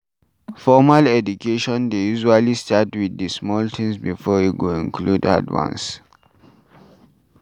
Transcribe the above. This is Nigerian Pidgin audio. Formal education dey usually start with di small things before e go include hard ones